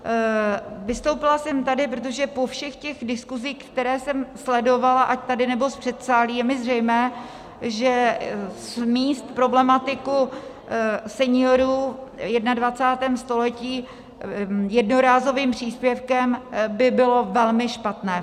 Vystoupila jsem tady, protože po všech těch diskusích, které jsem sledovala ať tady, nebo z předsálí, je mi zřejmé, že smést problematiku seniorů v 21. století jednorázovým příspěvkem by bylo velmi špatné.